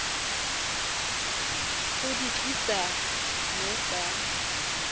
go di tlisa mo sa